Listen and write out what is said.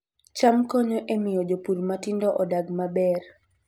Cham konyo e miyo jopur matindo odag maber